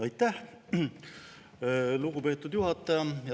Aitäh, lugupeetud juhataja!